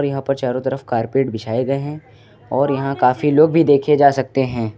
यहां पर चारों तरफ कारपेट बिछाए गए हैं और यहां काफी लोग भी देखे जा सकते हैं।